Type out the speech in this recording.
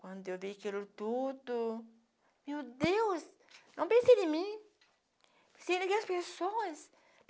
Quando eu vi aquilo tudo, meu Deus, não pensei em mim, pensei naquelas pessoas